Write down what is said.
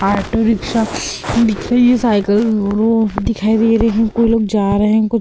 auto rickshaw पीछे ये cycle वो दिखाई दे रही है कोई लोग जा रहे हैं को --